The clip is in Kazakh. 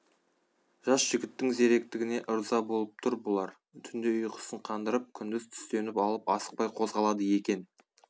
жас жігіттің зеректігіне ырза болып тұр бұлар түнде ұйқысын қандырып күндіз түстеніп алып асықпай қозғалады екен